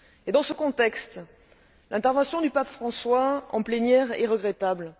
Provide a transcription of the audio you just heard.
Dans ce contexte, l'intervention du Pape François en plénière est regrettable.